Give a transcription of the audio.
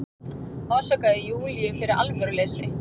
Ásakaði Júlíu fyrir alvöruleysi.